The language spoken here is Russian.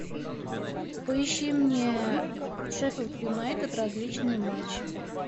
поищи мне шеффилд юнайтед различные матчи